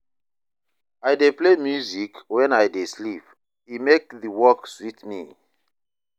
I dey play music when I dey sweep, e make the work sweet me.